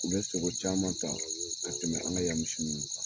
U bɛ sogo caman ta ka tɛmɛ an ka yan misi ninnu kan